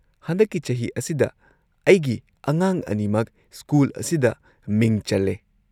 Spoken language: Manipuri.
ꯍꯟꯗꯛꯀꯤ ꯆꯍꯤ ꯑꯁꯤꯗ ꯑꯩꯒꯤ ꯑꯉꯥꯡ ꯑꯅꯤꯃꯛ ꯁ꯭ꯀꯨꯜ ꯑꯁꯤꯗ ꯃꯤꯡ ꯆꯜꯂꯦ꯫